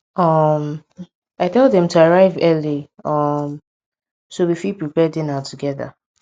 um i tell dem to arrive early um so we fit prepare dinner togeda